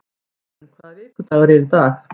Iðunn, hvaða vikudagur er í dag?